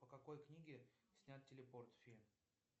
по какой книге снят телепорт фильм